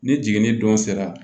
Ni jiginni don sera